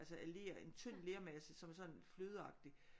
Altså af ler en tynd lermasse som er sådan flødeagtig